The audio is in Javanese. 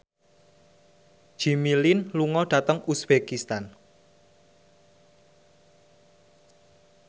Jimmy Lin lunga dhateng uzbekistan